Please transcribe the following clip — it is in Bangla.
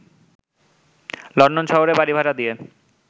লন্ডন শহরে বাড়িভাড়া দিয়ে